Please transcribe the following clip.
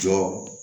Jɔ